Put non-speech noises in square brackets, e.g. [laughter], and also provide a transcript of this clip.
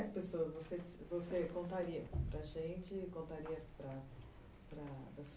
Quais pessoas você você contaria para a gente, contaria para [unintelligible]